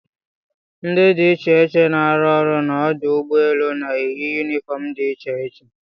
Ndị dị iche iche na-arụ ọrụ n'ọdụ ụgbọ elu na-eyi yunifọm dị iche iche.